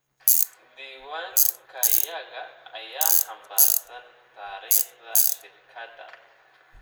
Diiwaankayaga ayaa xambaarsan taariikhda shirkadda.